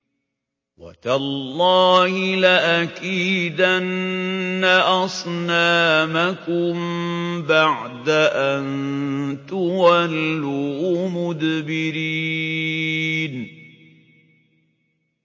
وَتَاللَّهِ لَأَكِيدَنَّ أَصْنَامَكُم بَعْدَ أَن تُوَلُّوا مُدْبِرِينَ